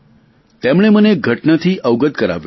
તેમણે મને એક ઘટનાથી અવગત કરાવ્યો છે